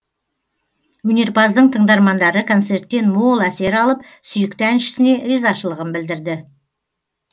өнерпаздың тыңдармандары концерттен мол әсер алып сүйікті әншісіне ризашылығын білдірді